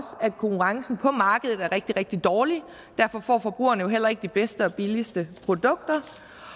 at konkurrencen på markedet er rigtig rigtig dårligt og derfor får forbrugerne jo heller ikke de bedste og billigste produkter